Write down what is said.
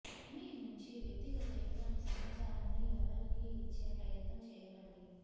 మీ నుంచి వ్యక్తిగత ఎటువంటి సమాచారాన్ని ఎవరికీ ఇచ్చే ప్రయత్నం చేయకండి